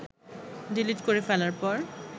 delete করে ফেলার পর